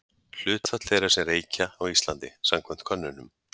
Hlutfall þeirra sem reykja á Íslandi samkvæmt könnunum.